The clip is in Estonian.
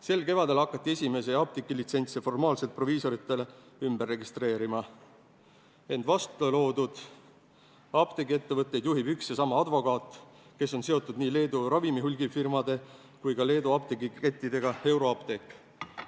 Sel kevadel hakati esimesi apteegilitsentse formaalselt proviisoritele ümber registreerima, ent vastloodud apteegiettevõtteid juhib üks ja sama advokaat, kes on seotud nii Leedu ravimihulgifirmade kui Leedu apteegiketiga Euroapteek.